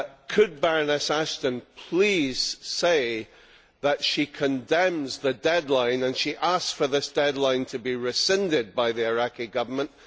Could Baroness Ashton please say that she condemns the deadline and she asks for this deadline to be rescinded by the Iraqi Government?